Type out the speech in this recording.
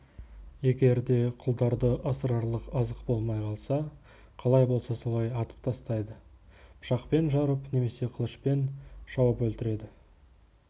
егер де құлдарды асырарлық азық болмай қалса қалай болса солай атып тастайды пышақпен жарып немесе қылышпен шауып өлтіреді